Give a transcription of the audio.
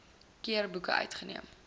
keer boeke uitgeneem